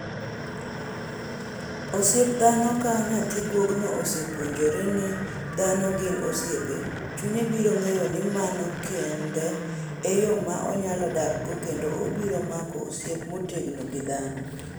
Osiep dhano Ka nyathi guogino osepuonjore ni dhano gin osiepe, chunye biro ng'eyo ni mano kende e yo ma onyalo dakgo kendo obiro mako osiep motegno gi dhano.